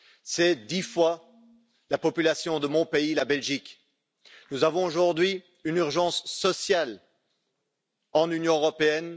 C'est dix fois la population de mon pays, la Belgique. Nous avons aujourd'hui une urgence sociale dans l'Union européenne.